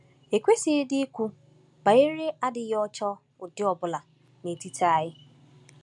Ekwesịghịdị ikwu banyere adịghị ọcha ụdị ọ bụla n’etiti anyị.